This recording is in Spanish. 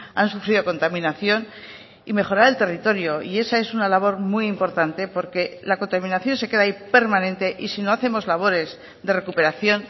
han sufrido contaminación y mejorar el territorio y esa es una labor muy importante porque la contaminación se queda ahí permanente y si no hacemos labores de recuperación